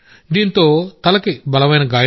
తలకు బలమైన గాయమైంది